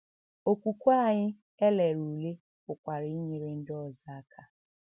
Okwukwe anyị e lere ule pụkwara inyere ndị ọzọ aka.